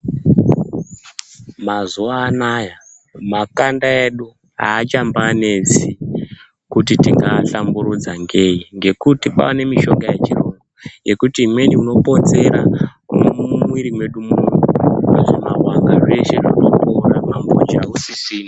Mazuva ano aya makanda edu haachambanetsi kuti tingaahlamburudza ngeyi, ngekuti kwava nemishonga yechirungu yekuti imweni unopotsera umwomu mumwiwiri mwedu umu zvimavanga zveshe zvotopora, mambonje hausisina.